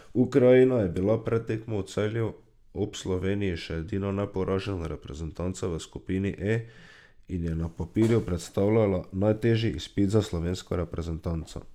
Ukrajina je bila pred tekmo v Celju ob Sloveniji še edina neporažena reprezentanca v skupini E in je na papirju predstavljala najtežji izpit za slovensko reprezentanco.